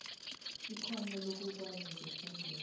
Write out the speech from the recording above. ikhono lokukwazi ukuphendula